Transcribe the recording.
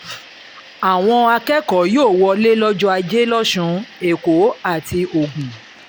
àwọn akẹ́kọ̀ọ́ yóò wọlé lọ́jọ́ ajé losun èkó àti ogun